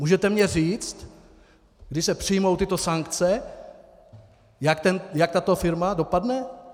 Můžete mně říct, když se přijmou tyto sankce, jak tato firma dopadne?